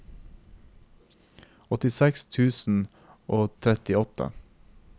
åttiseks tusen og trettiåtte